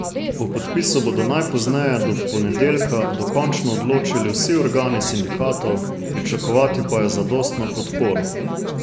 O podpisu bodo najpozneje do ponedeljka dokončno odločili vsi organi sindikatov, pričakovati pa je zadostno podporo.